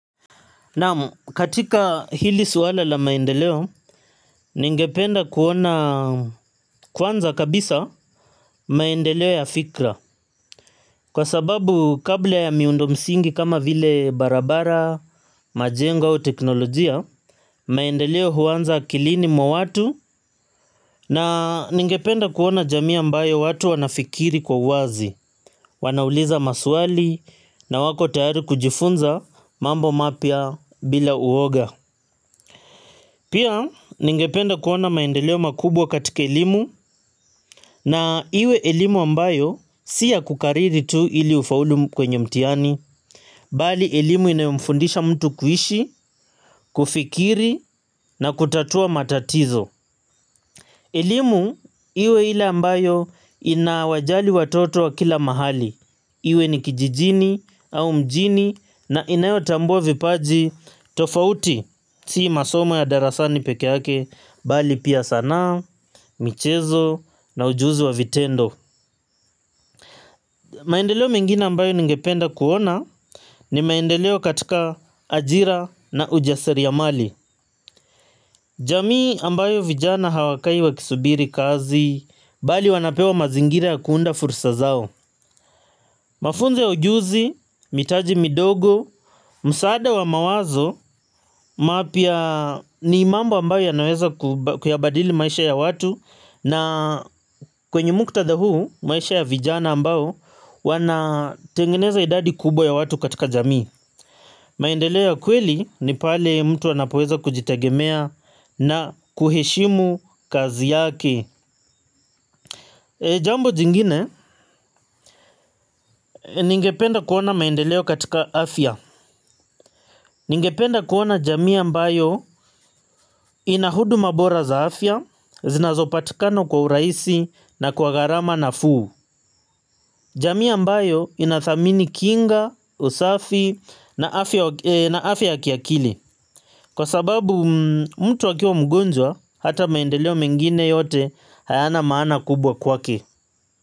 Naam katika hili swala la maendeleo, ningependa kuona kwanza kabisa maendeleo ya fikra. Kwa sababu kabla ya miundo msingi kama vile barabara, majengo au teknolojia, maendeleo huanza akilini mwa watu na ningependa kuona jamii ambayo watu wanafikiri kwa uwazi. Wanauliza maswali na wako tayari kujifunza mambo mapya bila uoga. Pia ningependa kuona maendeleo makubwa katika elimu na iwe elimu ambayo si ya kukariri tu ili ufaulu kwenye mtihani, bali elimu inayomfundisha mtu kuishi, kufikiri na kutatua matatizo. Elimu iwe ile ambayo inawajali watoto wa kila mahali. Iwe ni kijijini au mjini na inayotambua vipaji tofauti. Si masomo ya darasani peke yake bali pia sanaa, michezo na ujuzi wa vitendo. Maendeleo mengine ambayo ningependa kuona ni maendeleo katika ajira na ujasariamali. Jamii ambayo vijana hawakai wakisubiri kazi, bali wanapewa mazingira ya kuunda fursa zao. Mafunzo ya ujuzi, mitaji midogo, msaada wa mawazo, mapya ni mambo ambayo yanaweza kuyabadili maisha ya watu. Na kwenye muktadha huu maisha ya vijana ambao wanatengeneza idadi kubwa ya watu katika jamii maendeleo ya kweli ni pale mtu anapoweza kujitegemea na kuheshimu kazi yake jambo jingine ningependa kuona maendeleo katika afya. Ningependa kuona jamii ambayo ina huduma bora za afya zinazopatikana kwa urahisi na kwa gharama nafuu. Jamii ambayo inathamini kinga, usafi na afya ya kiakili. Kwa sababu mtu akiwa mgonjwa hata maendeleo mengine yote hayana maana kubwa kwake.